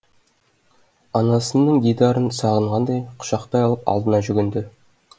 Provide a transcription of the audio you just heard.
анасының дидарын сағынғандай құшақтай алып алдына жүгінді